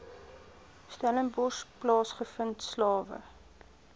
stellenbosch plaasgevind slawe